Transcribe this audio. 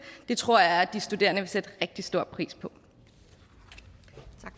det tror jeg at de studerende vil sætte rigtig stor pris